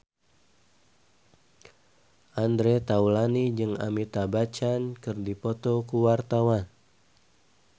Andre Taulany jeung Amitabh Bachchan keur dipoto ku wartawan